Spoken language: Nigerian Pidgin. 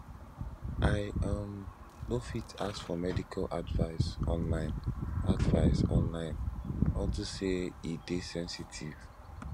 i um no fit ask for medical advice online advice online unto say e dey sensitive